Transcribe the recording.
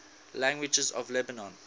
languages of lebanon